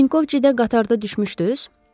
Vinkovçidə qatardan düşmüşdüz?